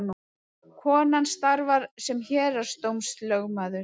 Konan starfar sem héraðsdómslögmaður